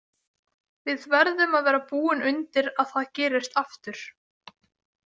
Við verðum að vera búin undir að það gerist aftur.